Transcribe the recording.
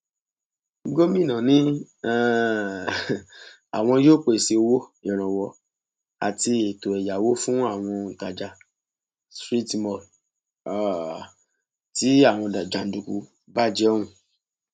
gomina ni um àwọn yóò pèsè owó ìrànwọ àti ètò ẹyáwó fún àwọn òǹtajà street mall um tí àwọn jàǹdùkú bàjẹ ọhún